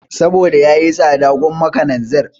Saboda yayi tsada gwamma kalanzir